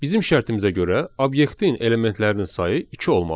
Bizim şərtimizə görə obyektin elementlərinin sayı iki olmalıdır.